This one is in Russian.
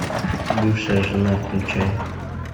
бывшая жена включай